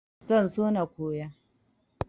Zan so na koya.